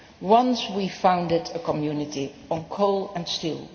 Once we founded a community on coal and steel